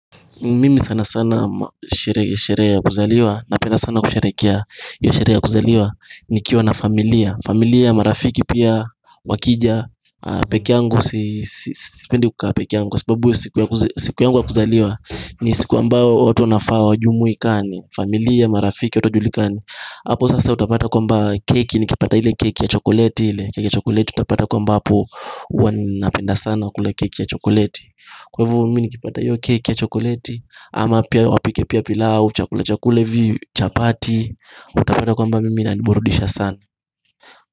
Mimi sana sana sherehe sherehe ya kuzaliwa Napenda sana kusherekea hio sherehe ya kuzaliwa Nikiwa na familia familia, marafiki pia Wakija peke yangu Sipendi kukaa peke yangu Kwa sababu hio siku yangu ya kuzaliwa ni siku ambao watu wanafaa wajumuikani familia, marafiki, watu hawajulikani Apo sasa utapata kwamba keki Nikipata ile keki ya chokoleti ile keki ya chokoleti utapata kuwa ambapo huwa napenda sana kula keki ya chokoleti Kwa hivo mimi nikipata hiyo keki ya chokoleti Ama pia wapike pia pilau Chakula chakula hivi chapati Utapata kwamba mimi inaniburudisha sana.